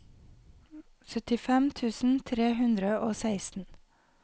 syttifem tusen tre hundre og seksten